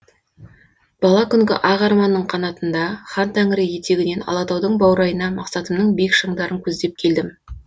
бала күнгі ақ арманның қанатында хантәңірі етегінен алатаудың баурайына мақсатымның биік шыңдарын көздеп келдім